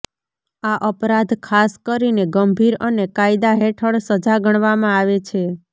આ અપરાધ ખાસ કરીને ગંભીર અને કાયદા હેઠળ સજા ગણવામાં આવે છે